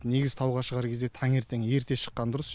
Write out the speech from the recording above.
негізі тауға шығар кезде таңертең ерте шыққан дұрыс